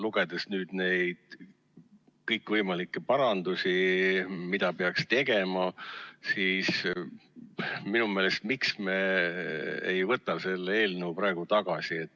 Lugedes nüüd neid kõikvõimalikke parandusi, mida peaks tegema, miks me ei võta seda eelnõu praegu tagasi.